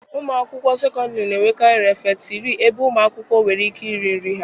Ụlọ akwụkwọ sekọndịrị na-enwekarị refetịrị ebe ụmụ akwụkwọ nwere ike iri nri ha.